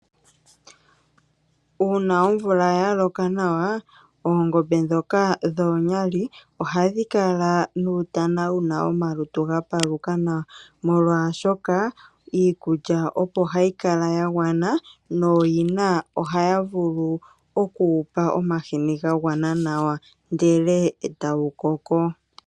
Uuna omvula ya loka nawa oongombe ndhoka dhomwali ohadhi kala nuutana wuna omalutu gapaluka nawa molwashoka iikulya opo hayi kala ya gwana nooyina ohaya vulu okuwupa omahini ga gwana nawa ndele etawu koko.